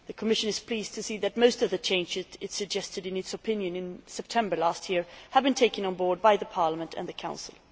The Commission is pleased to see that most of the changes it suggested in its opinion in September 2011 have been taken on board by Parliament and the Council.